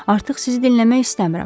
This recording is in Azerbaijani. Artıq sizi dinləmək istəmirəm.